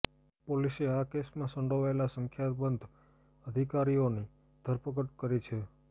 પોલીસે આ કેસમાં સંડોવાયેલા સંખ્યાબંધ અધિકારીઓની ધરપકડ કરી છે